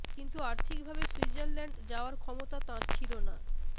কিন্তু অর্থিকভাবে সুইৎজারল্যান্ড যাওয়ার ক্ষমতা তাঁর ছিল না